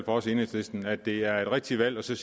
os i enhedslisten at det er et rigtigt valg at sige